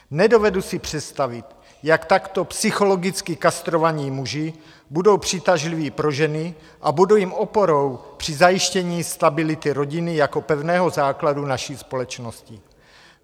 Nedovedu si představit, jak takto psychologicky kastrovaní muži budou přitažliví pro ženy a budou jim oporou při zajištění stability rodiny jako pevného základu naší společnosti.